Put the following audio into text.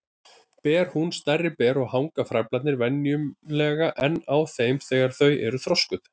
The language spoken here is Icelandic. Ber hún stærri ber og hanga frævlarnir venjulega enn á þeim þegar þau eru þroskuð.